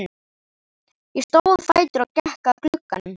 Ég stóð á fætur og gekk að glugganum.